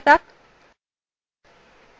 আবার পূর্বাবস্থায় ফিরে আসা যাক